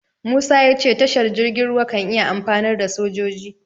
Musa ya ce tashar jirgin ruwa kan iya amfanar da sojoji.